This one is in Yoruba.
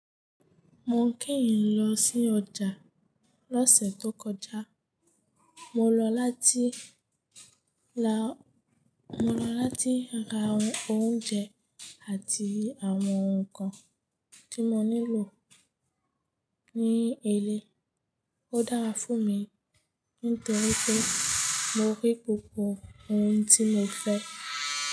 Mo keyin lọ sí ọjà lọ́sẹ̀ tó kọjá. Mo lọ láti ra, Mo lọ láti ra oúnjẹ àti àwọn nǹkan tí mo nílò ní ilé. Ó dára fún mi nítorí pé mo rí gbogbo ohun tí mo fẹ́.